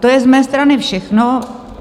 To je z mé strany všechno.